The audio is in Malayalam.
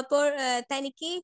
അപ്പൊ എഹ് തനിക്ക് ഈ